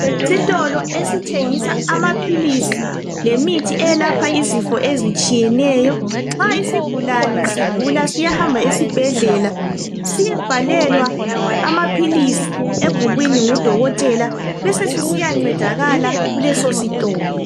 Isitolo esithengisa amaphilisi lemithi eyelapha izifo ezitshiyeneyo. Nxa isigulane sigula siyahamba esibhedlela siyebhalelwa amaphilisi ebhukwini ngudokotela sibe sesisiya ncedakala kuleso sitolo.